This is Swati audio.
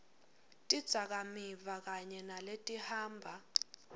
tidzakamiva kanye naletihamba